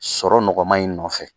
Sɔrɔ nɔgɔman in nɔfɛ